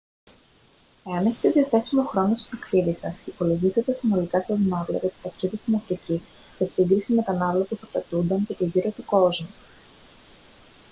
εάν έχετε διαθέσιμο χρόνο στο ταξίδι σας υπολογίστε τα συνολικά σας ναύλα για το ταξίδι στην αφρική σε σύγκριση με τα ναύλα που θα απαιτούνταν για το γύρο του κόσμου